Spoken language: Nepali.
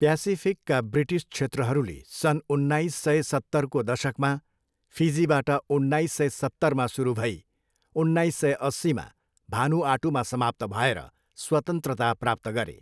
प्यासिफिकका ब्रिटिस क्षेत्रहरूले सन् उन्नाइस सय सत्तरको दशकमा, फिजीबाट उन्नाइस सय सत्तरमा सुरु भई उन्नाइस सय अस्सीमा भानुआटूमा समाप्त भएर स्वतन्त्रता प्राप्त गरे।